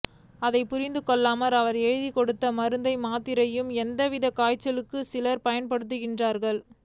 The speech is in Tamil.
அதைப் புரிந்துகொள்ளாமல் அவர் எழுதிக் கொடுத்த மருந்து மாத்திரைகளையே எல்லாவிதமான காய்ச்சலுக்கும் சிலர் பயன்படுத்துகிறார்கள்